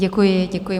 Děkuji, děkuji.